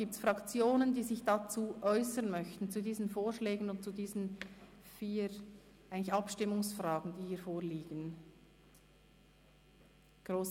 Gibt es Fraktionen, die sich zu diesen Vorschlägen und zu den vier Abstimmungsfragen, die hier vorliegen, äussern möchten?